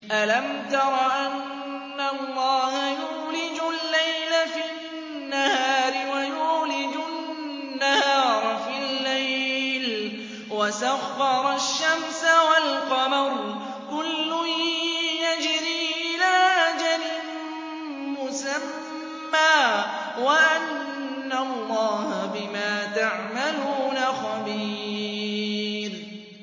أَلَمْ تَرَ أَنَّ اللَّهَ يُولِجُ اللَّيْلَ فِي النَّهَارِ وَيُولِجُ النَّهَارَ فِي اللَّيْلِ وَسَخَّرَ الشَّمْسَ وَالْقَمَرَ كُلٌّ يَجْرِي إِلَىٰ أَجَلٍ مُّسَمًّى وَأَنَّ اللَّهَ بِمَا تَعْمَلُونَ خَبِيرٌ